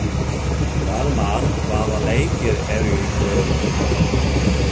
Dalmar, hvaða leikir eru í kvöld?